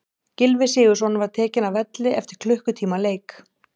Gylfi Sigurðsson var tekinn af velli eftir klukkutíma leik.